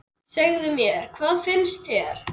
Segðu mér, hvað finnst þér?